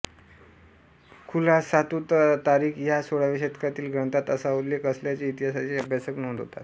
खुलासातूततारीख या सोळाव्या शतकातील ग्रंथात असा उल्लेख असल्याचे इतिहासाचे अभ्यासक नोंदवतात